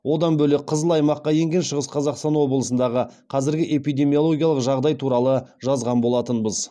одан бөлек қызыл аймаққа енген шығыс қазақстан облысындағы қазіргі эпидемиологиялық жағдай туралы жазған болатынбыз